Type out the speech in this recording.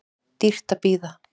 Dýrt að bíða